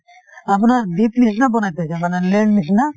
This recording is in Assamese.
আপোনাৰ দ্বীপ নিছিনা বনাই থৈছে lake নিছিনা